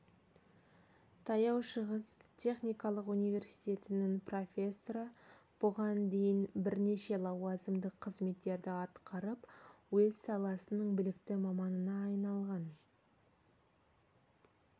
таяу шығыс техникалық университетінің профессоры бұған дейін бірнеше лауазымдық қызметтерді атқарып өз саласының білікті маманына айналған